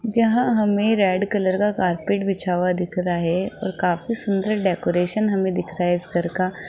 यहां हमें red colour का कारपेट बिछा हुआ दिख रहा है और काफी सुंदर डेकोरेशन हमें दिख रा है इस घर का।